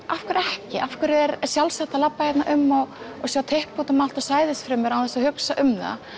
af hverju ekki af hverju er sjálfsagt að labba hér um og sjá typpi út um allt og sæðisfrumur án þess að hugsa um það